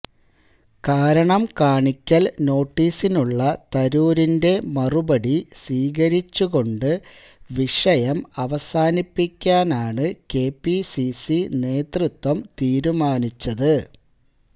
കാരണം കാണിക്കല് നോട്ടീസിനുള്ള തരൂരിന്റെ മറുപടി സ്വീകരിച്ചുകൊണ്ട് വിഷയം അവസാനിപ്പിക്കാനാണ് കെപിസിസി നേതൃത്വം തീരുമാനിച്ചത്